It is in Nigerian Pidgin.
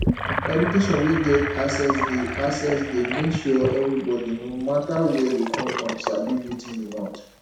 education wey get access de access de make sure everybody no matter where you come from sabi wetin you want